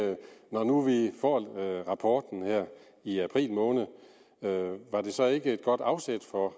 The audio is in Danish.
når nu vi får rapporten her i april måned var det så ikke et godt afsæt for